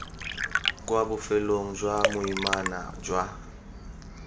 kwa bofelong jwa boimana jwa